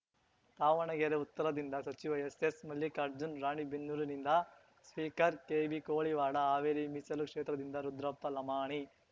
ದಾವಣಗೆರೆ ಉತ್ತರದಿಂದ ಸಚಿವ S S Mallikarjun ರಾಣಿಬೆನ್ನೂರುನಿಂದ speaker KB Koliwad Haveri ಮೀಸಲು ಕ್ಷೇತ್ರದಿಂದ ರುದ್ರಪ್ಪ ಲಮಾಣಿ